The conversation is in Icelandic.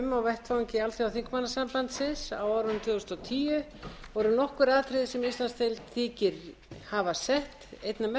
vettvangi alþjóðaþingmannasambandsins á árinu tvö þúsund og tíu voru nokkur atriði sem íslandsdeild þykir hafa sett einna mestan svip